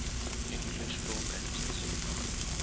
english film actors